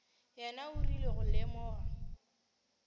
yena o rile go lemoga